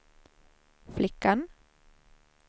flickan